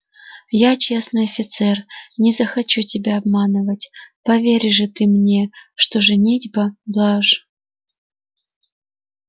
я честный офицер не захочу тебя обманывать поверь же ты мне что женитьба блажь